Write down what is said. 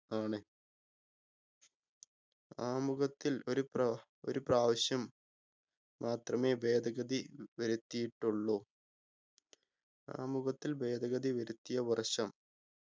ആണ് ആമുഖത്തിൽ ഒരു പ്ര ഒരു പ്രാവശ്യം മാത്രമേ ഭേദഗതി വരുത്തിയിട്ടുള്ളു ആമുഖത്തതിൽ ഭേദഗതി വരുത്തിയ വർഷം